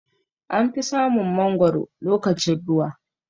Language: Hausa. Anfi samun mangwaro lokacin ruwa.